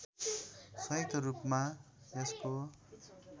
संयुक्त रूपमा यसको